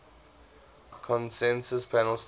consensus panel stated